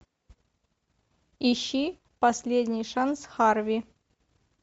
ищи последний шанс харви